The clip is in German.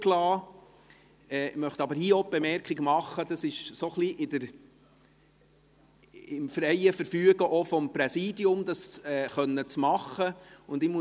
Ich möchte hier auch die Bemerkung machen, dass es im freien Verfügen des Präsidiums liegt, dies machen zu können.